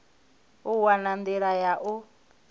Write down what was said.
u wana nḓila ya u